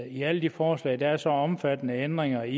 i alle de forslag er der så omfattende ændringer i